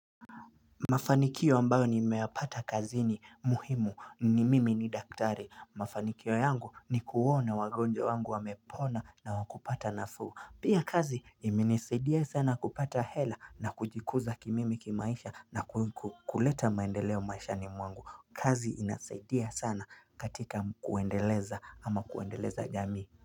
Mafanikio ambayo nimeyapata kazini muhimu ni mimi ni daktari Mafanikio yangu ni kuona wagonja wangu wamepona na wakupata nafuu Pia kazi imenisaidia sana kupata hela na kujikuza kimimi kimaisha na kuleta maendeleo maishani mwangu kazi inasaidia sana katika kuendeleza ama kuendeleza jamii.